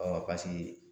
paseke